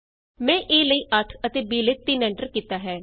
ਮੈਂ a ਲਈ 8 ਅਤੇ b ਲਈ 3 ਐਂਟਰ ਕੀਤਾ ਹੈ